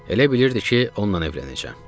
Elə bilirdi ki, onunla evlənəcəm.